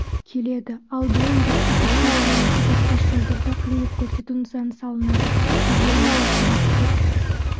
келеді ал биыл республикалық маңызы бар тас жолдарда қызмет көрсету нысаны салынады бұл жерлерде тұрақты